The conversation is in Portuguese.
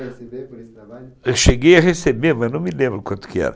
Eu cheguei a receber, mas não me lembro quanto que era.